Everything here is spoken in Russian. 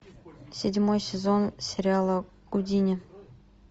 седьмой сезон сериала гудини